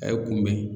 A ye kun bɛ